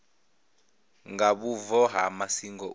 nga vhubvo ha masingo u